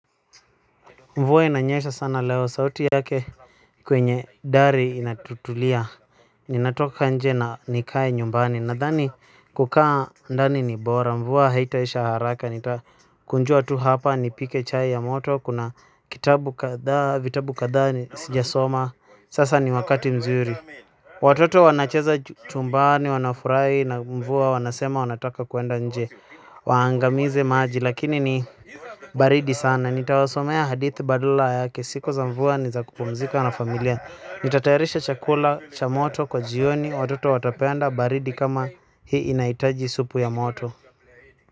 Mvua inanyesha sana leo sauti yake. Kwenye dhari inatutulia. Ninatoka nje na nikae nyumbani nadhani kukaa ndani ni bora mvua haitaisha haraka ni kunjua tu hapa nipike chai ya moto kuna kitabu kadhaa vitabu kadhaa sijasoma sasa ni wakati mzuri. Watoto wanacheza chumbani wanafurahi na mvua wanasema wanataka kuenda nje waangamize maji lakini ni baridi sana nitawasomea hadithi badala yake. Siku za mvua ni za kumpuzika na familia nitatayarisha chakula cha moto kwa jioni. Watoto watapenda baridi kama, hii inahitaji supu ya moto.